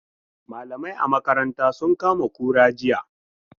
Malamai a makarantasun kama kura jiya.